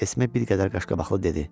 Esmi bir qədər qaşqabaqlı dedi.